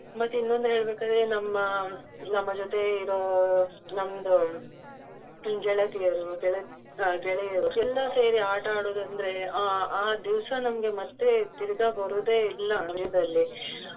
ಮತ್ತೆ ಇನ್ನೊಂದು ಹೇಳ್ಬೇಕಾದರೆ ನಮ್ಮ ನಮ್ಮ ಜೊತೆ ಇರೋ ನಮ್ದು ಗೆಳತಿಯರು ಅಹ್ ಗೆಳೆಯರು ಎಲ್ಲ ಸೇರಿ ಆಟ ಆಡುವುದಂದ್ರೆ ಆ ಆ ದಿವಸ ನಮ್ಗೆ ಮತ್ತೆ ತಿರ್ಗ ಬರುದೇ ಇಲ್ಲ .